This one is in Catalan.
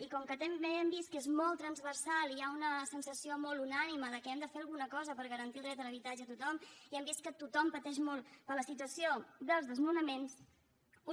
i com que també hem vist que és molt transversal i hi ha una sensació molt unànime que hem de fer alguna cosa per garantir el dret a l’habitatge a tothom i hem vist que tothom pateix molt per la situació dels desnonaments